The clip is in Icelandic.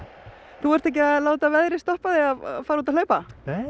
þú ert ekki að láta veðrið stoppa þig að fara út að hlaupa